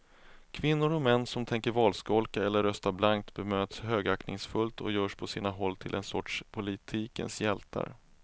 Kvinnor och män som tänker valskolka eller rösta blankt bemöts högaktningsfullt och görs på sina håll till en sorts politikens hjältar.